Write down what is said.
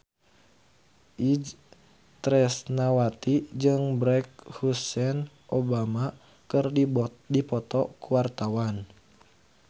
Itje Tresnawati jeung Barack Hussein Obama keur dipoto ku wartawan